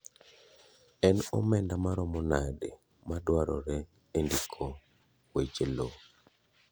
En omenda maromo nade madwarore e ndiko weche loo.